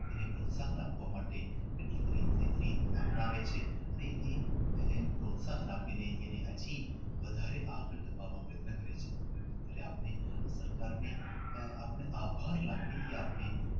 એને પ્રોત્સાહન આપવા માટે કેટલી કેટલી રીત અપનાવે છે અને એને એને પ્રોત્સાહન આપીને અને આજે આ વધારે આગળ લાવવા માટે પ્રયત્ન કરે છે અને આપને આપણને આભાર લાગણી એ થી